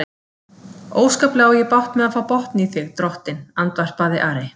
Óskaplega á ég bágt með að fá botn í þig, drottinn, andvarpaði Ari.